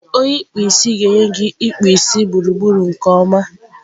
onye ikpụ isi a ga-enye gị ịkpụ gburugburu nke ọma.